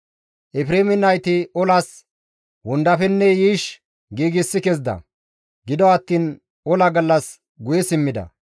Efreeme nayti olas wondafenne yiish giigsi kezida; gido attiin ola gallas guye simmida.